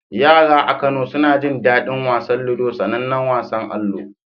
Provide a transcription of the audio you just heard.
Yara a Kano suna jin daɗin wasan ludo, sanannen wasan allo.